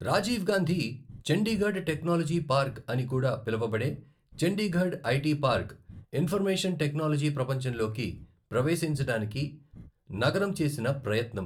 Rajiv Gandhi Chandigarh technology park అని కూడా పిలువబడే Chandigarh IT park, information technology ప్రపంచంలోకి ప్రవేశించడానికి నగరం చేసిన ప్రయత్నం.